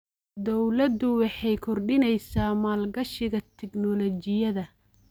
Dawladdu waxay kordhinaysaa maalgashiga tignoolajiyada.